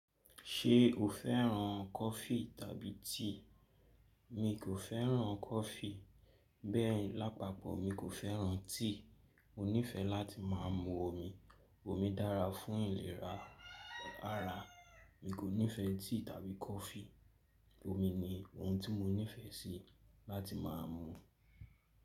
Ṣé o féràn coffee tàbí tea? Mi kò féràn coffee, bẹ́ẹ̀ làpapọ̀ mi kò féràn tea. Mo nífẹẹ láti má a mú omi. Omi dára fún ìlera ara. Mi kò nífẹẹ tea tàbí coffee. Omi ni ohun tí mo nífẹẹ sí láti má a mú.